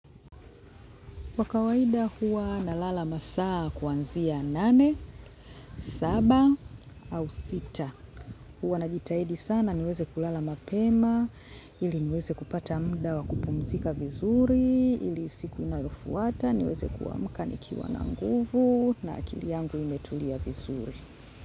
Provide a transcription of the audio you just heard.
Kwa kawaida huwa nalala masaa kuanzia nane, saba au sita. Huwa najitaidi sana niweze kulala mapema, ili niweze kupata mda wa kupumzika vizuri, ili siku inayofuata, niweze kuamka nikiwa na nguvu na akili yangu imetulia vizuri.